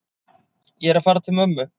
Ég er að fara til mömmu.